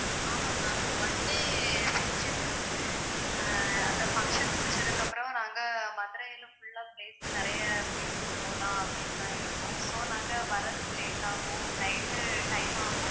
ஆமா ma'am one day function இருக்குது. அஹ் அந்த function முடிச்சதுக்கு அப்புறம் நாங்க மதுரையில full ஆ place நெறைய place க்கு போலாம் அப்படின்னுதான் இருக்கோம் so நாங்க வர்றதுக்கு late ஆகும் night time ஆகும்